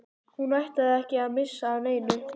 Hún ætlaði ekki að missa af neinu.